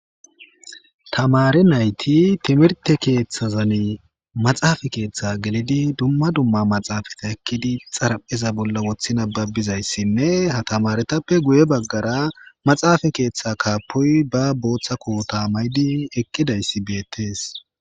tamari nayti timirte keeththazani maxaafa keeththa gelidi dumma dumma maxaafata ekkidi xaraphiza bolla woththi nababizayssinne ha tamaretappe guye baggara maxaafa keeththa kaapoy ba booththako ta maydi eqqidayssi beettees